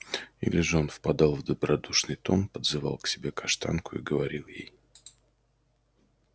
или же он впадал в добродушный тон подзывал к себе каштанку и говорил ей